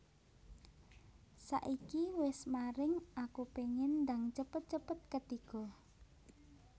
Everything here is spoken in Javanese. Saiki wes mareng aku pengen ndang cepet cepet ketiga